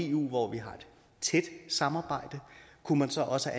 eu hvor vi har et tæt samarbejde kunne man så også